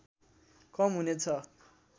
कम हुने छ